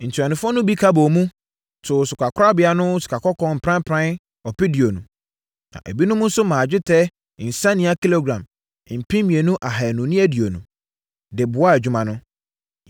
Ntuanofoɔ no bi ka bɔɔ mu, too sikakorabea no mu sikakɔkɔɔ pranpran ɔpeduonu (20,000), na ebinom nso maa dwetɛ nsania kilogram mpem mmienu ahanu ne aduonu (2,220) de boaa adwuma no.